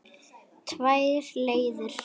Tvær leiðir.